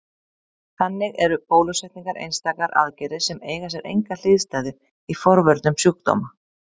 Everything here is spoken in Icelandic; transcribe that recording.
Þannig eru bólusetningar einstakar aðgerðir sem eiga sér enga hliðstæðu í forvörnum sjúkdóma.